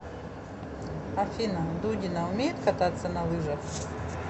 афина дудина умеет кататься на лыжах